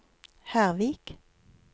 Hervik